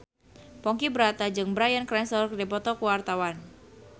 Ponky Brata jeung Bryan Cranston keur dipoto ku wartawan